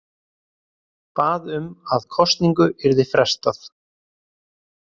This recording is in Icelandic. Bað um að kosningu yrði frestað